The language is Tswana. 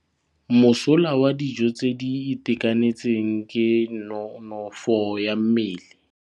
Mosola wa dijô tse di itekanetseng ke nonôfô ya mmele.